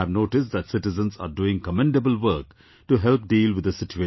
I have noticed that citizens are doing commendable work to help deal with the situation